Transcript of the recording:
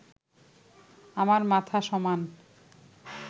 আমার মাথা সমান